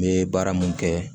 N bɛ baara mun kɛ